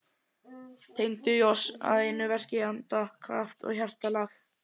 Tengdu í oss að einu verki anda, kraft og hjartalag.